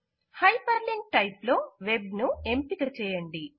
hyper link type లో web ను ఎంపిక చేయండి